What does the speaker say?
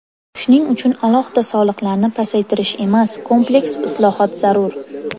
Shuning uchun alohida soliqlarni pasaytirish emas, kompleks islohot zarur.